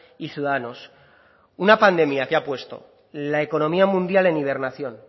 y ciudadanos una pandemia que ha puesto la economía mundial en hibernación